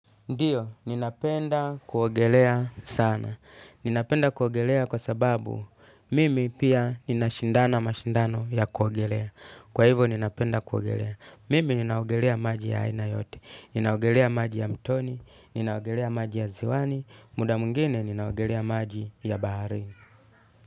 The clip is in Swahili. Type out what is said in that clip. Ndiyo, ninapenda kuogelea sana. Ninapenda kuogelea kwa sababu mimi pia ninashindana mashindano ya kuogelea. Kwa hivo ninapenda kuogelea. Mimi ninaogelea maji ya aina yote. Ninaogelea maji ya mtoni. Ninaogelea maji ya ziwani. Muda mwingine ninaogelea maji ya baharini.